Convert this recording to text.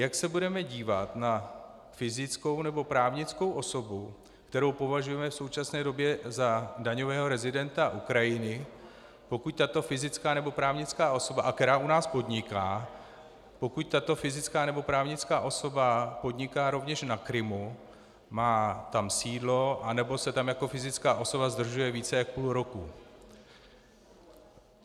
Jak se budeme dívat na fyzickou nebo právnickou osobu, kterou považujeme v současné době za daňového rezidenta Ukrajiny, pokud tato fyzická nebo právnická osoba, a která u nás podniká, pokud tato fyzická nebo právnická osoba podniká rovněž na Krymu, má tam sídlo anebo se tam jako fyzická osoba zdržuje více než půl roku?